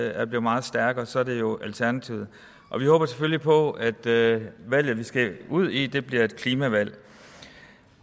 er blevet meget stærkere så er det jo alternativet vi håber selvfølgelig på at det valg vi skal ud i bliver et klimavalg